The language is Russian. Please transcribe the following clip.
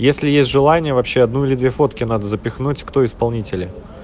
если есть желание вообще одну или две фотки надо запихнуть кто исполнители